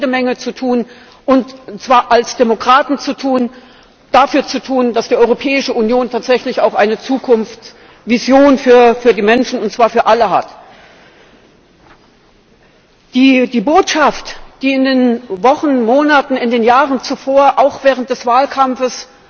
Wir haben jede Menge dafür zu tun und zwar als Demokraten zu tun dass die Europäische Union tatsächlich auch eine Zukunftsvision für die Menschen, und zwar für alle, hat. Die Botschaft, die in den Wochen, Monaten, in den Jahren zuvor, auch während des Wahlkampfes